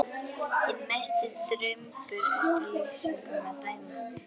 Hinn mesti drumbur eftir lýsingum að dæma.